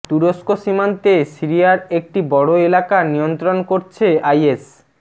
তুরস্ক সীমান্তে সিরিয়ার একটি বড় এলাকা নিয়ন্ত্রণ করছে আইএস